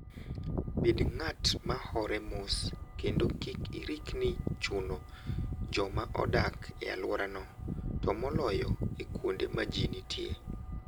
Bed ng'at ma hore mos kendo kik irikni chuno joma odak e alworano, to moloyo e kuonde ma ji nitie.